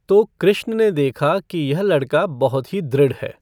तो कृष्ण ने देखा की यह लड़का बहुत ही दृढ़ है।